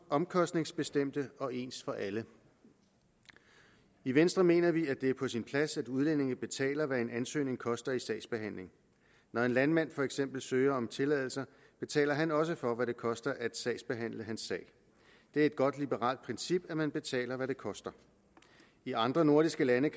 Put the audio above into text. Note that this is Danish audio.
omkostningsbestemte og ens for alle i venstre mener vi at det er på sin plads at udlændinge betaler hvad en ansøgning koster i sagsbehandling når en landmand for eksempel søger om tilladelser betaler han også for hvad det koster at sagsbehandle hans sag det er et godt liberalt princip at man betaler hvad det koster i andre nordiske lande